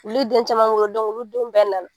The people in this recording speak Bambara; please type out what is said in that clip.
Olu den caman wolo olu denw bɛɛ nana.